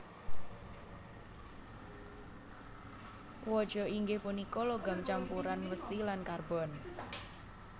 Waja inggih punika logam campuran wesi lan karbon